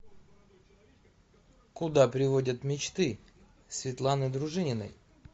куда приводят мечты светланы дружининой